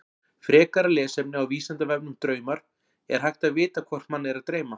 Frekara lesefni á Vísindavefnum Draumar Er hægt að vita hvort mann er að dreyma?